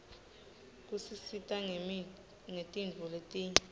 tisisita ngetintfo letinyeti